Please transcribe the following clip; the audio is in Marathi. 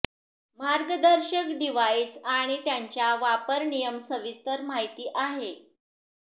मार्गदर्शक डिव्हाइस आणि त्याच्या वापर नियम सविस्तर माहिती आहे